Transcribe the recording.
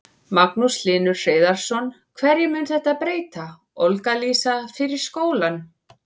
Magnús Hlynur Hreiðarsson: Hverju mun þetta breyta, Olga Lísa, fyrir skólann?